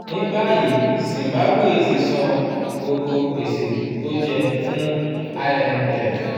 ní báyìí zimbabwe ti san gbogbo gbèsè tó jẹ fún imf. ⁇